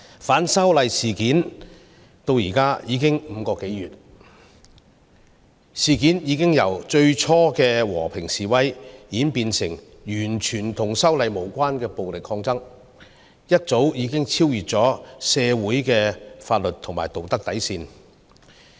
反修例事件發生至今已經5個多月，事件已由最初的和平示威，演變為完全與修例無關的暴力抗爭，早已超越社會的法律和道德底線。